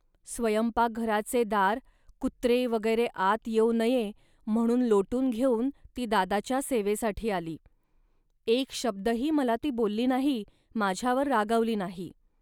स्वयंपाकघराचे दार कुत्रे वगैरे आत येऊ नये, म्हणून लोटून घेऊन ती दादाच्या सेवेसाठी आली. एक शब्दही मला ती बोलली नाही, माझ्यावर रागवली नाही